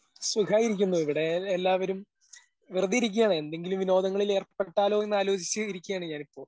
സുഖായിരിക്കുന്നു ഇവിടെ എല്ലാവരും വെറുതെ ഇരിക്കുവാണ് എന്തെങ്കിലും വിനോദങ്ങളിൽ ഏർപ്പെട്ടാലോ എന്ന് ആലോചിച്ച് ഇരിക്കുവാണ് ഞാനിപ്പോ.